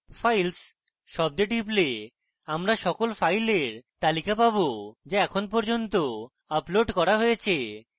files শব্দে টিপলে আমরা সকল files তালিকা পাবো যা এখন পর্যন্ত আপলোড করা হয়েছে